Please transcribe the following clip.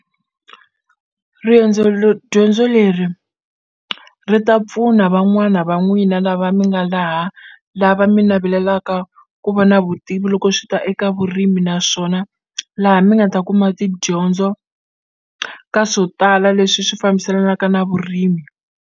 Dyondzo leri ri ta pfuna van'wana va n'wina lava mi nga laha lava mi navelelaka ku va na vutivi loko swi ta eka vurimi naswona laha mi nga ta kuma tidyondzo ka swo tala leswi swi fambiselanaka na vurimi.